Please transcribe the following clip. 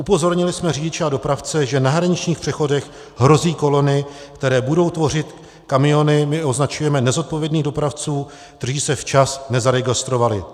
Upozornili jsme řidiče a dopravce, že na hraničních přechodech hrozí kolony, které budou tvořit kamiony - my označujeme nezodpovědných dopravců, kteří se včas nezaregistrovali.